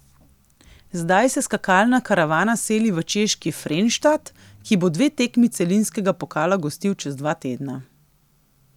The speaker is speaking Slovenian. Zdaj se skakalna karavana seli v češki Frenštat, ki bo dve tekmi celinskega pokala gostil čez dva tedna.